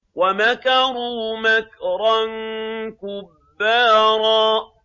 وَمَكَرُوا مَكْرًا كُبَّارًا